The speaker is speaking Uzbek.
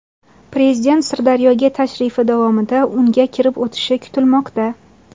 Prezident Sirdaryoga tashrifi davomida unga kirib o‘tishi kutilmoqda.